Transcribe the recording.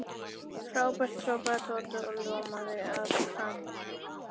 Frábært hrópaði Tóti og ljómaði af hamingju.